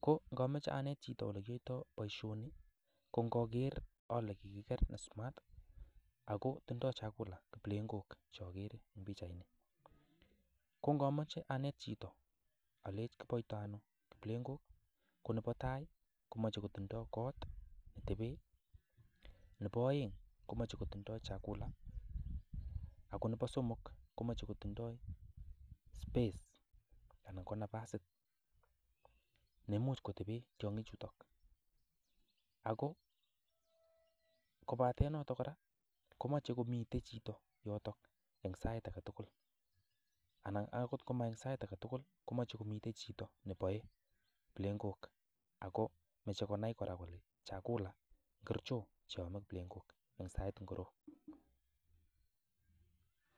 ngo ngameche anet chito boisioni ko ngaker ale kiker ne smart ako tindoi chakula kiplengok cho akere ing pichaini ko ngameche anet chito alech kipaito ano kiplengok ko nepa tai komeche kotindoi kot ne tepee nepo aeng komeche kotindoi chakula ako nepo somok komeche kotindoi space ana ko nafasit nemuj kotepee tionyik chuta ako kopatee noto kora komeche komite chito yoto eng sai akatukul ana akot ngomaek sait akatukul komeche komii chito nepae kiplengok ako meche konai kole chakula ngorcho che ame kiplengok eng sait ngroo